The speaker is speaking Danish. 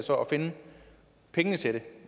finde pengene til det